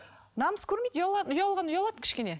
намыс көрмейді ұялғаны ұялады кішкене